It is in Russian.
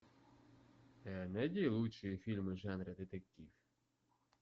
найди лучшие фильмы в жанре детектив